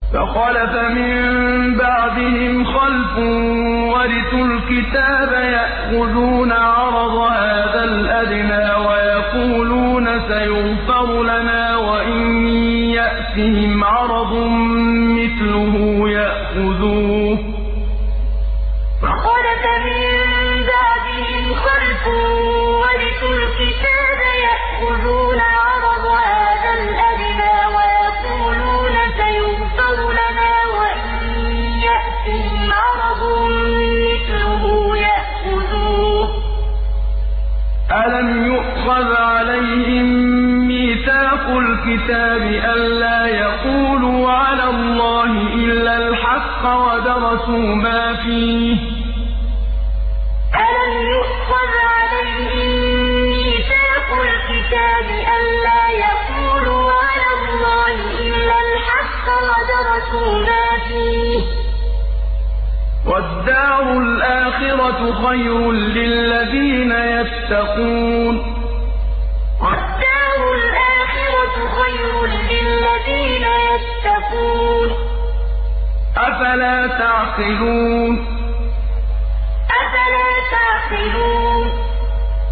فَخَلَفَ مِن بَعْدِهِمْ خَلْفٌ وَرِثُوا الْكِتَابَ يَأْخُذُونَ عَرَضَ هَٰذَا الْأَدْنَىٰ وَيَقُولُونَ سَيُغْفَرُ لَنَا وَإِن يَأْتِهِمْ عَرَضٌ مِّثْلُهُ يَأْخُذُوهُ ۚ أَلَمْ يُؤْخَذْ عَلَيْهِم مِّيثَاقُ الْكِتَابِ أَن لَّا يَقُولُوا عَلَى اللَّهِ إِلَّا الْحَقَّ وَدَرَسُوا مَا فِيهِ ۗ وَالدَّارُ الْآخِرَةُ خَيْرٌ لِّلَّذِينَ يَتَّقُونَ ۗ أَفَلَا تَعْقِلُونَ فَخَلَفَ مِن بَعْدِهِمْ خَلْفٌ وَرِثُوا الْكِتَابَ يَأْخُذُونَ عَرَضَ هَٰذَا الْأَدْنَىٰ وَيَقُولُونَ سَيُغْفَرُ لَنَا وَإِن يَأْتِهِمْ عَرَضٌ مِّثْلُهُ يَأْخُذُوهُ ۚ أَلَمْ يُؤْخَذْ عَلَيْهِم مِّيثَاقُ الْكِتَابِ أَن لَّا يَقُولُوا عَلَى اللَّهِ إِلَّا الْحَقَّ وَدَرَسُوا مَا فِيهِ ۗ وَالدَّارُ الْآخِرَةُ خَيْرٌ لِّلَّذِينَ يَتَّقُونَ ۗ أَفَلَا تَعْقِلُونَ